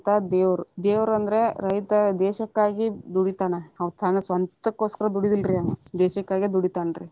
ದೇವ್ರು, ದೇವರು ಅಂದ್ರೆ ರೈತ ದೇಶಕ್ಕಾಗಿ ದುಡಿತಾನ, ಅವಾ ತನ್ನ ಸ್ವಂತಕ್ಕೊಸ್ಕರ ದುಡಿಯುದಿಲ್ಲರೀ ಆವಾ ದೇಶಕ್ಕಾಗಿ ದುಡಿತಾನರೀ.